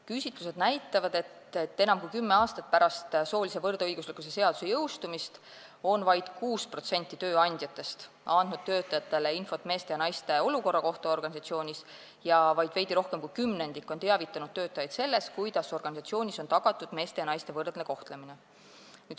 Küsitlused näitavad, et enam kui kümme aastat pärast soolise võrdõiguslikkuse seaduse jõustumist on vaid 6% tööandjatest andnud töötajatele infot meeste ja naiste olukorra kohta organisatsioonis ja vaid veidi rohkem kui kümnendik on teavitanud töötajaid sellest, kuidas organisatsioonis on tagatud meeste ja naiste võrdne kohtlemine.